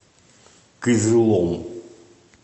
кызылом